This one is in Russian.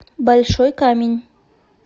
большой камень